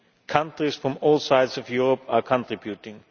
Countries from all sides of Europe are contributing.